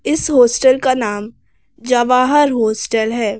इस हॉस्टल का नाम जवाहर हॉस्टल है।